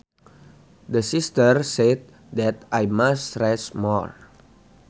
The Sister said that I must rest more